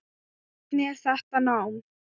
Hvernig er þetta nám?